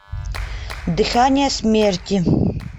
дыхание смерти